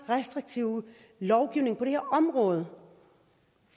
restriktive lovgivning på det her område